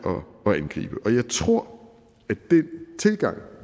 at angribe jeg tror at den tilgang